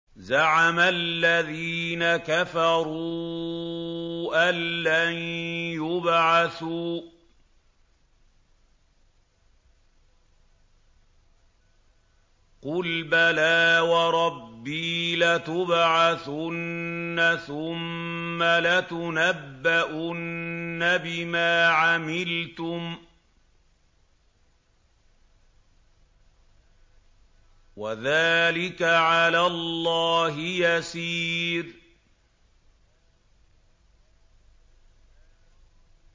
زَعَمَ الَّذِينَ كَفَرُوا أَن لَّن يُبْعَثُوا ۚ قُلْ بَلَىٰ وَرَبِّي لَتُبْعَثُنَّ ثُمَّ لَتُنَبَّؤُنَّ بِمَا عَمِلْتُمْ ۚ وَذَٰلِكَ عَلَى اللَّهِ يَسِيرٌ